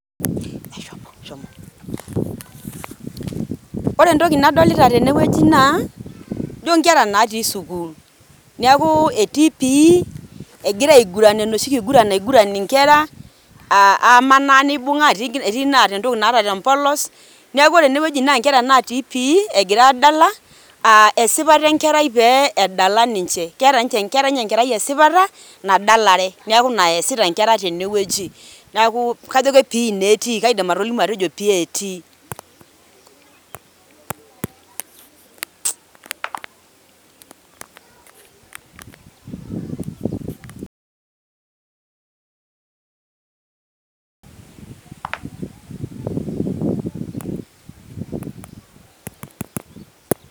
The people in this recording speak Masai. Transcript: Ore entoki naadolita tenewueji naa ijio inkera naatii sukuul, neeku etii Physical Education, egira aiguran enoshi kiguran naiguran inkerra aa amaanaa nibung'a etii enaata entoki tempolos, neeku ore enewueji naa nkerra natii Physical Education egira aadala aa esipata enkerai pee edala ninche, keeta ninye enkerai esipata nadalare neeku ina eesita inkera tenewueji, neeku kaidim atolimu ajo PE etii..